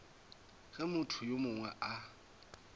ge motho yo mongwe a